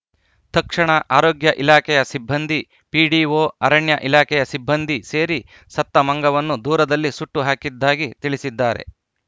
ತಕ್ಷಣ ಆರೋಗ್ಯ ಇಲಾಖೆಯ ಸಿಬ್ಬಂದಿ ಪಿಡಿಒ ಅರಣ್ಯ ಇಲಾಖೆಯ ಸಿಬ್ಬಂದಿ ಸೇರಿ ಸತ್ತ ಮಂಗವನ್ನು ದೂರದಲ್ಲಿ ಸುಟ್ಟುಹಾಕಿದ್ದಾಗಿ ತಿಳಿಸಿದ್ದಾರೆ